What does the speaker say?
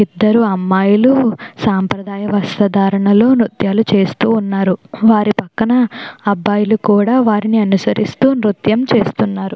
ఇద్దరు అమ్మాయిలు సాంప్రదాయ వస్త్రధారణలో నృత్యాలు చేస్తూ ఉన్నారు. వారి పక్కన అబ్బాయిలు కూడా వారిని అనుసరిస్తూ నృత్యం చేస్తున్నారు.